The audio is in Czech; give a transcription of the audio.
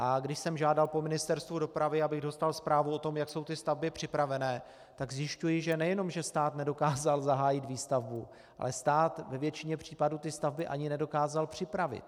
A když jsem žádal po Ministerstvu dopravy, abych dostal zprávu o tom, jak jsou ty stavby připraveny, tak zjišťuji, že nejenom že stát nedokázal zahájit výstavbu, ale stát ve většině případů ty stavby ani nedokázal připravit.